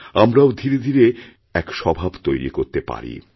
আমরাও ধীরেধীরে এক স্বভাব তৈরি করতে পারি